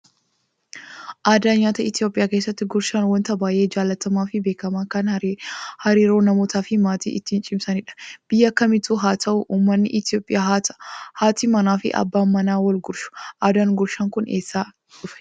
Aadaa nyaataa Itoophiyaa keessatti gurshaan wanta baay'ee jaallatamaa fi beekamaa kan hariiroo namootaa fi maatii ittiin cimsinudha. Biyya kamittiyyuu haa ta'uu uummanni Itoophiyaa haati manaa fi abbaa manaan wal gurshu. Aadaan gurshaan kun eessaa dhufee?